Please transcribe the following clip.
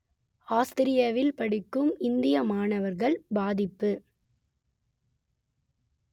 ஆஸ்திரியாவில் படிக்கும் இந்திய மாணவர்கள் பாதிப்பு